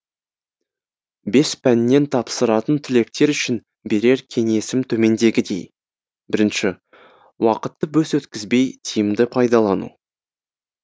бес пәннен тапсыратын түлектер үшін берер кеңесім төмендегідей бірінші уақытты бос өткізбей тиімді пайдалану